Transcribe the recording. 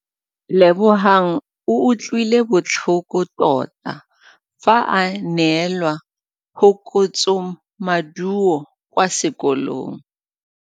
Lebogang o utlwile botlhoko tota fa a neelwa phokotsômaduô kwa sekolong.